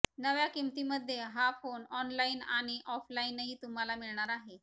नव्या किंमतींमध्ये हा फोन ऑनलाईन आणि ऑफलाईनही तुम्हाला मिळणार आहे